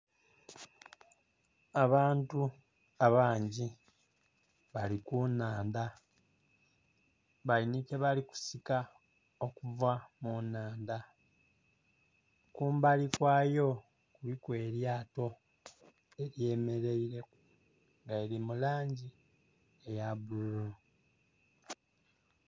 Abantu abangi bali ku nnhandha bali nhi kyebali kusika okuva mu nnhandha, kumbali kwayo kuliku elyato elyemeleireku nga lili mu langi eya bbululu.